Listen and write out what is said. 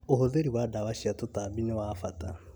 ũhũthĩri wa ndawa cia tũtambi nĩ wa bata